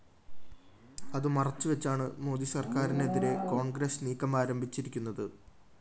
അതു മറച്ചുവച്ചാണ് മോദി സര്‍ക്കാരിനെതിരെ കോണ്‍ഗ്രസ് നീക്കമാരംഭിച്ചിരിക്കുന്നത്